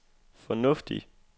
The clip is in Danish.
fornuftigt